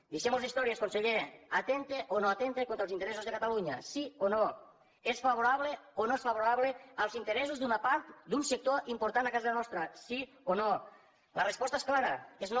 deixemmos d’històries conseller atempta o no atempta contra els interessos de catalunya sí o no és favorable o no és favorable als interessos d’una part d’un sector important a casa nostra sí o no la resposta és clara és no